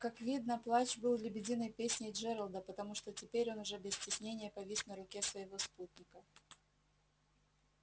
как видно плач был лебединой песней джералда потому что теперь он уже без стеснения повис на руке своего спутника